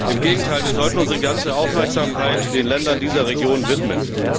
Im Gegenteil, wir sollten unsere ganze Aufmerksamkeit den Ländern dieser Region widmen.